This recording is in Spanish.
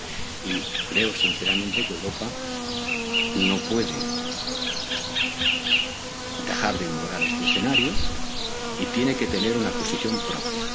en el que estamos. Y creo sinceramente que Europa no puede dejar de ignorar este escenario y que tiene que tener